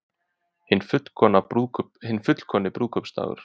Hinn fullkomni brúðkaupsdagur